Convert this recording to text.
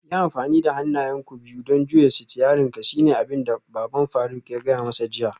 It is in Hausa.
Yi amfani da hannayenka biyu don juya sitiyarinka shine abinda baban faruk ya gaya masa jiya